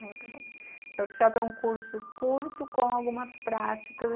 Workshop é um curso curto com algumas práticas.